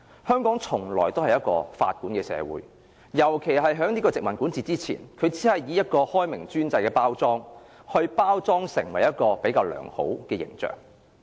香港從來都是法管的社會，尤其是在殖民管治時，政府只是以開明專制來包裝出較良好的形象。